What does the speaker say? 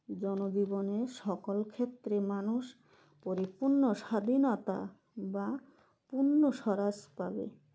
জনজীবনে সকল ক্ষেত্রে মানুষ পরিপূর্ণ স্বাধীনতা বা পূর্ণ স্বরাজ পাবে